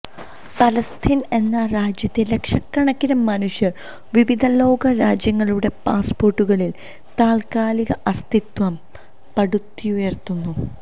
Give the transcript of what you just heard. പലസ്തീന് എന്ന രാജ്യത്തെ ലക്ഷക്കണക്കിന് മനുഷ്യര് വിവിധ ലോക രാജ്യങ്ങളുടെ പാസ്പോര്ട്ടുകളില് താല്ക്കാലിക അസ്തിത്വം പടുത്തുയര്ത്തുന്നു